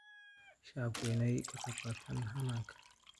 Shacabku waa in ay ka qaybqaataan hannaanka.